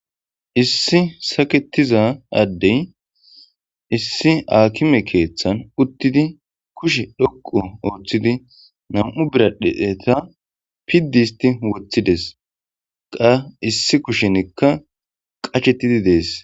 Issi saketiza addey issi aakime keeththan uttidi kushe dhoqu ooththidi nam'u biradheeta piddi isti woothides qa issi kushenekka qachetidi dees